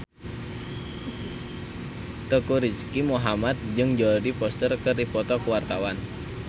Teuku Rizky Muhammad jeung Jodie Foster keur dipoto ku wartawan